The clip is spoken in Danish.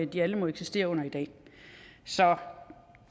de alle må eksistere med i dag så